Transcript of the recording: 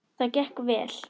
Það gekk vel.